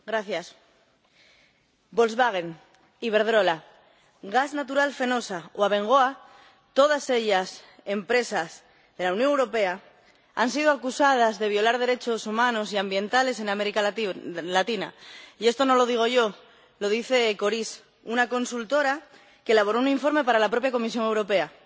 Señor presidente, Volkswagen, Iberdrola, Gas Natural Fenosa o Abengoa, todas ellas empresas de la Unión Europea, han sido acusadas de violar derechos humanos y ambientales en América Latina. Y esto no lo digo yo, lo dice Coris, una consultora que elaboró un informe para la propia Comisión Europea.